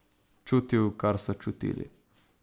Čutil, kar so čutili.